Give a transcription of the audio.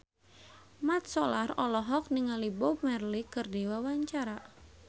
Mat Solar olohok ningali Bob Marley keur diwawancara